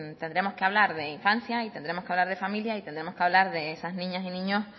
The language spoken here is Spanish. tendremos que hablar de infancia y tendremos que hablar de familia y tendremos que hablar de esas niñas y niños